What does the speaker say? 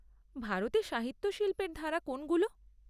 ভারতে সাহিত্য শিল্পের ধারা কোনগুলো?